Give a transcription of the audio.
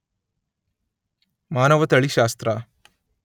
ಮಾನವತಳಿಶಾಸ್ತ್ರ